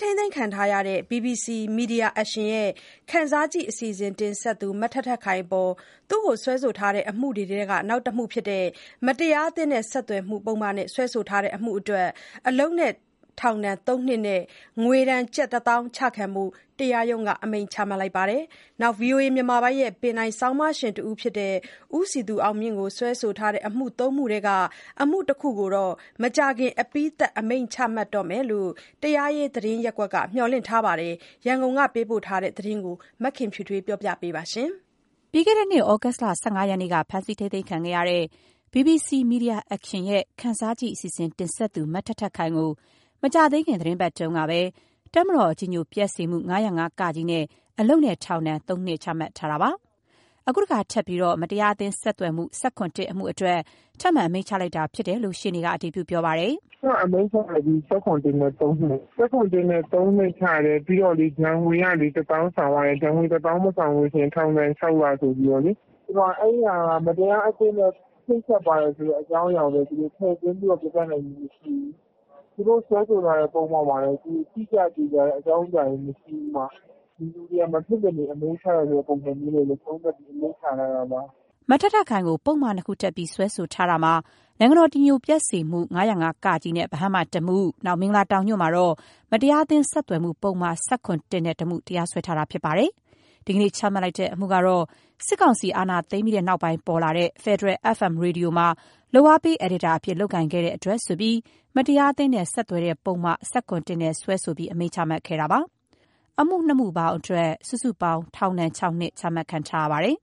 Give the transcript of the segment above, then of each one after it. ထိန်းသိမ်းခံနေရတဲ့ BBC Media Action ရဲ့ “ခံစားကြည့်” အစီအစဉ်တင်ဆက်သူ မထက်ထက်ခိုင်အပေါ် စွဲဆိုထားတဲ့အမှုတွေထဲက နောက်တမှုဖြစ်တဲ့ မတရားအသင်းနဲ့ဆက်သွယ်မှုနဲ့ စွဲဆိုထားတဲ့အမှုအတွက် အလုပ်နဲ့ထောင်ဒဏ် ၃ နှစ်နဲ့ ငွေဒဏ် ကျပ် ၁၀,၀၀၀ ကျခံဖို့ တရားရုံးက အမိန့်ချမှတ်လိုက်ပါတယ်။ ဗွီအိုအေမြန်မာပိုင်းရဲ့ ပင်တိုင်ဆောင်းပါးရှင်တဦးဖြစ်တဲ့ ဦးစည်သူအောင်မြင့်ကို စွဲဆိုထားတဲ့အမှု ၃ မှု ထဲက အမှု ၁ ခု ကိုတော့ မကြာခင် အပြီးသတ်အမိန့်ချမှတ်တော့မယ်လို့ တရားရေး သတင်းရပ်ကွက်က မျှော်လင့်ထားပါတယ်။ ရန်ကုန်ကသတင်းပေးပို့ချက်ကို မခင်ဖြူထွေးက တင်ပြပေးထားပါတယ်။ ပြီးခဲ့တဲ့နှစ် သြဂုတ်လ ၁၅ ရက်နေ့က ဖမ်းဆီးခံခဲ့ရတဲ့ BBC Media Action ရဲ့ “ခံစားကြည့်” အစီအစဉ် တင်ဆက်သူ မထက်ထက်ခိုင်ကို မကြာသေးခင် သီတင်းပတ်တွေအတွင်းကပဲ တပ်မတော်အကြည်ညို ပျက်စေမှု ၅၀၅-ကအတွက် အလုပ်နဲ့ ထောင်ဒဏ် ၃ နှစ်ချမှတ်ထားပြီးဖြစ်ပါတယ်။ အခု မတရားအသင်း ဆက်သွယ် မှု ၁၇/ ၁ အတွက် ထပ်ပြီး အမိန့်ချလိုက်တဲ့အကြောင်း ရှေ့နေက အတည်ပြုပါတယ်။ “ထက်ထက် အမိန့်ချလိုက်ပြီ။ ၁၇/၁ နဲ့ ၃ နှစ်။ ၁၇/၁နဲ့ ၃ နှစ်အပြင် ဒဏ်ငွေ ၁၀,၀၀၀ ဆောင်ရတယ်။ အဲဒါ မဆောင်ရင် ထောင်ဒဏ် ၆ လ ကျခံရမယ်ဆိုပြီးလေ။ အဲဒီအမှုမှာ မတရားအသင်းနဲ့ ချိတ်ဆက်ပါတယ်လို့ ထည့်သွင်းပြနိုင်ခဲ့တာ မရှိဘူး။ သူတို့စွဲဆိုထားတဲ့ပုဒ်မမှာလည်း တိကျသေချာတဲ့ အကြောင်းအရာမရှိဘူး။ ဒီလူတွေကို အမိန့်ချရမယ့် ပုံစံနဲ့ပဲ သုံးသပ်အမိန့်ချတာပါ။” မထက်ထက်ခိုင်ကို ပုဒ်မ ၂ ခုတပ်ပြီး စွဲထားတာမှာ ဗဟန်းမှာ တပ်မတော် အကြည်အညိုပျက်စေမှု ၅၀၅-က နဲ့ တမှု၊ မင်္ဂလာတောင်ညွှန့်မှာတော့ မတရားအသင်းဆက်သွယ်မှု ပုဒ်မ ၁၇/၁ တမှုတို့နဲ့ တရားစွဲခဲ့တာ ဖြစ်ပါတယ်။ ဒီကနေ့ချမှတ်လိုက်တဲ့အမှုကတော့ စစ်ကောင်စီအာဏာသိမ်းပြီးနောက်ပေါ်လာတဲ့ ဖက်ဒရယ် FM ရေဒီယိုမှာ လုပ်အားပေးအယ်ဒီတာအဖြစ် လုပ်ကိုင်ခဲ့တဲ့အတွက်ဆိုပြီး မတရားအသင်းနဲ့ ဆက်သွယ်တဲ့ပုဒ်မ ၁၇/၁ နဲ့စွဲချက်တင်ပြီး အမိန့်ချမှတ်ခဲ့တာပါ။ အမှု ၂ ခု အတွက် ပေါင်း ၆ နှစ် ချမှတ်ထားပါတယ်။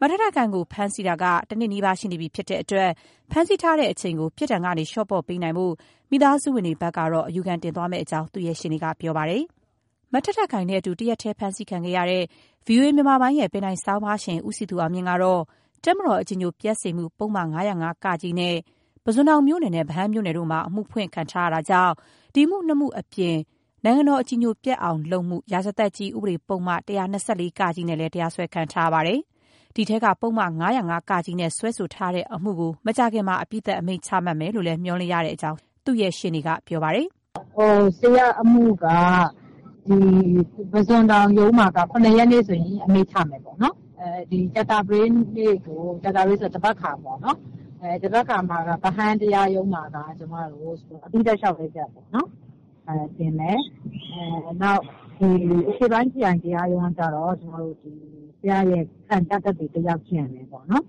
ထက်ထက်ခိုင်ကို ဖမ်းဆီးထားတာက တနှစ်နီးပါး ရှိတော့မှာဖြစ်တဲ့အတွက် ဖမ်းဆီးထားတဲ့အချိန်ကို ပြစ်ဒဏ်ကနေ လျော့ပေါ့ပေးနိုင်ဖို့ မိသားစုဝင်တွေဘက်က အယူခံတင်သွားမယ့်အကြောင်း သူ့ရဲ့ ရှေ့နေက ပြောပါတယ်။ ထက်ထက်ခိုင်နဲ့အတူ တရက်တည်းဖမ်းဆီးခံရတဲ့ ဗွီအိုအေမြန်မာပိုင်းရဲ့ဆောင်းပါးရှင် ဦးစည်သူ အောင်မြင့် ကတော့ တပ်မတော် အကြည်ညိုပျက်စေမှု ပုဒ်မ ၅၀၅-က နဲ့ ပုဇွန်တောင်မြို့နယ်နဲ့ ဗဟန်းမြို့နယ်မှာ အမှုဖွင့်ထားတာကြောင့် အမှု ၂ မှုအပြင် နိုင်ငံတော် အကြည်ညိုပျက်အောင် ပြုလုပ်မှု ရာဇသတ်ကြီး ဥပဒေပုဒ်မ ၁၂၄ (က) တို့နဲ့ တရားစွဲခံထားရပါတယ်။ ဒီအထဲက ပုဒ်မ ၅၀၅-က နဲ့ စွဲဆိုထားတဲ့အမှု တမှုကို မကြာခင်မှာ အပြီးသတ် အမိန့်ချမှတ်မယ်လို့ မျှော်လင့်တဲ့အကြောင်း သူ့ရှေ့နေက ပြောပါတယ်။ “ဆရာ့အမှုက ပုစွန်တောင်ရုံးမှာက ၇ ရက်နေ့ အမိန့်ချမယ်။ ကြာသပတေးနေ့ သဘက်ခါပေါ့။ ဗဟန်း တရား ရုံးမှာက အပြီးသတ်လျှောက်လဲချက်ပေါ့။ တင်မယ်။ အရှေ့ပိုင်းခရိုင်တရားရုံးဘက်ကတော့ ဆရာ့ ခံပြသက်သေစစ်ဖို့ရှိပါတယ်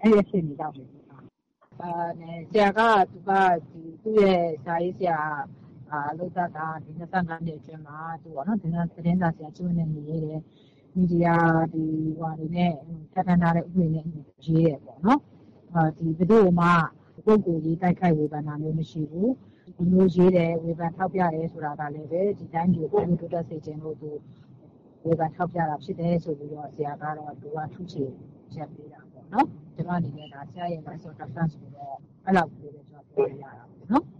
။ အဲအခြေအနေပေါ့ ဆရာကတော့ သူ့ရဲ့လုပ်သက် ၂၅ နှစ်ကျော်မှာ သတင်းစာဆရာကျင့်ဝတ်နဲ့အညီရေးတယ်။ မီဒီယာပြဌာန်းထားတာနဲ့အညီရေးတယ်ပေါ့။ ဘယ်သူ့ကိုမှ ပုဂ္ဂိုလ်ရေး တိုက်ခိုက်ဝေဖန် တာမရှိဘူး။ ခုလိုရေးတာတွေကလည်း တိုင်းပြည်ဖွံ့ဖြိုးတိုးတက်စေချင်လို့ပေါ့။ ဒီလိုမျိုး ဆရာ့ထုချေချက်ကိုပဲ ကျမပြောလို့ရသေးတာပေါ့နော်။”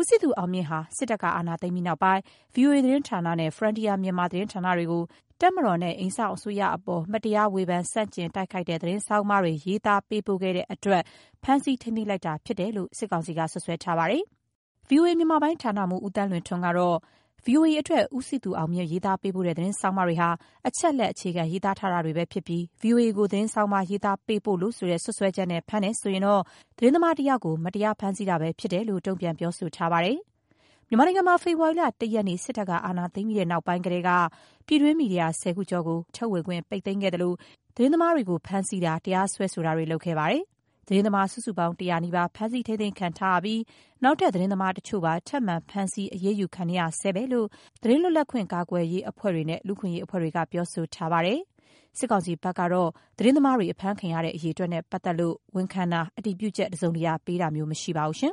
ဦးစည်သူအောင်မြင့်ဟာ စစ်တပ်က အာဏာသိမ်းပြီးနောက်ပိုင်း VOA သတင်းဌာနနဲ့ Frontier Myanmar သတင်းဌာနတွေကို တပ်မတော်နဲ့ အိမ်စောင့်အစိုးရအပေါ် မတရား ဝေဖန်ဆန့်ကျင်တိုက်ခိုက်တဲ့ သတင်းဆောင်းပါးတွေ ရေးသားပေးပို့တဲ့အတွက် ဖမ်းဆီးထိန်းသိမ်းလိုက်တာဖြစ်တယ်လို့ စစ်ကောင်စီက စွပ်စွဲထားပါတယ်။ ဗွီအိုအေ မြန်မာပိုင်းဌာနမှူး ဦးသန်းလွင်ထွန်းကတော့ ဗွီအိုအေအတွက် ဦးစည်သူအောင်မြင့် ရေးသားပေးပို့တဲ့သတင်းဆောင်းပါးတွေဟာ အချက်အလက်အခြေခံ ရေးသားထားတာတွေပဲဖြစ်ပြီး ဗွီအိုအေကို သတင်းဆောင်းပါး ရေးသားပေးပို့လို့ဆိုတဲ့ စွပ်စွဲချက်နဲ့ဖမ်းတယ်ဆိုရင်တော့ သတင်းသမားတယောက်ကို မတရားဖမ်းဆီးတာပဲ ဖြစ်တဲ့အကြောင်း တုံ့ပြန်ပြောဆိုထားပါတယ်။ မြန်မာနိုင်ငံမှာ ဖေဖော်ဝါရီလ ၁ ရက်နေ့ စစ်တပ်က အာဏာသိမ်းပြီးနောက်ပိုင်းကတည်းက ပြည်တွင်း မီဒီယာ ၁၀ ခုကျော်ကို တရားဝင် ထုတ်ဝေခွင့် ပိတ်သိမ်းခဲ့သလို သတင်းသမားတွေကို ဖမ်းဆီးတာ၊ တရားစွဲတာတွေ ပြုလုပ်ခဲ့ပါတယ်။ သတင်းသမား အယောက် ၁၀၀ နီးပါး ဖမ်းဆီးထိန်းသိမ်းခံထားရပြီး နောက်ထပ် သတင်းသမားတချို့ပါ ထပ်မံ ဖမ်းဆီးအရေးယူခံနေရဆဲပဲလို့ သတင်းလွတ်လပ်ခွင့် ကာကွယ်ရေးအဖွဲ့တွေနဲ့ လူ့အခွင့်အရေး အဖွဲ့တွေက ပြောဆိုထားပါတယ်။ စစ်ကောင်စီဘက်ကတော့ သတင်းသမားတွေ အဖမ်းခံရတဲ့ အရေအတွက်နဲ့ ပတ်သက်လို့ဝန်ခံတာ၊ အတြည်ပုချက် တစုံတရာပေးတာမျိုး မရှိပါဘူး။